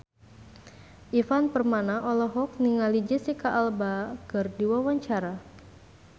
Ivan Permana olohok ningali Jesicca Alba keur diwawancara